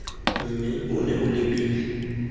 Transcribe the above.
mme o nne o lebile